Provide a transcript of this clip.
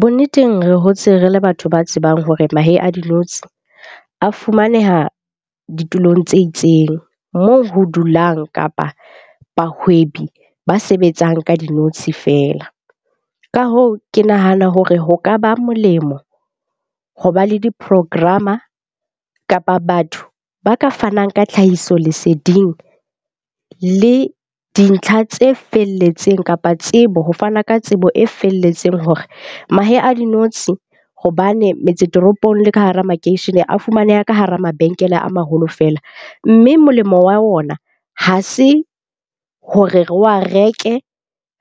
Bonneteng re hotse re le batho ba tsebang hore mahe a dinotshi a fumaneha ditulong tse itseng moo ho dulang kapa bahwebi ba sebetsang ka dinotshi feela. Ka hoo, ke nahana hore ho ka ba molemo ho ba le di-program-a kapa batho ba ka fanang ka tlhahisoleseding le dintlha tse felletseng kapa tsebo. Ho fana ka tsebo e felletseng hore mahe a dinotshi hobane metse toropong le ka hara makeishene a fumaneha ka hara mabenkele a maholo fela. Mme molemo wa wona ha se hore re wa reke